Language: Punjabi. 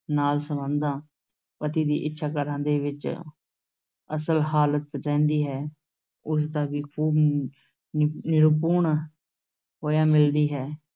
ਨਾਲ ਸੰਬੰਧਾਂ, ਪਤੀ ਦੀ ਇੱਛਾ ਘਰਾਂ ਦੇ ਵਿੱਚ ਅਸਲ ਹਾਲਤ ਰਹਿੰਦੀ ਹੈ, ਉਸ ਦਾ ਵੀ ਖ਼ੂਬ ਨਿ ਨਿਰੂਪਣ ਹੋਇਆਂ ਮਿਲਦੀ ਹੈ।